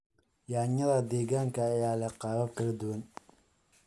Yaanyada deegaanka ayaa leh qaabab kala duwan.